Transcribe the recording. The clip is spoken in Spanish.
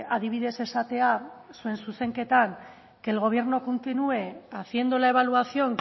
adibidez esatea zuen zuzenketan que el gobierno continúe haciendo la evaluación